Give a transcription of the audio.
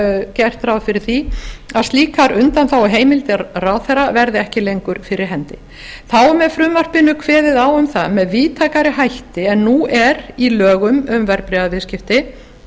gert ráð fyrir því að slíkar undanþáguheimildir ráðherra verði ekki lengur fyrir hendi þá er með frumvarpinu kveðið á um það með víðtækari hætti en nú er í lögum um verðbréfaviðskipti